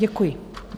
Děkuji.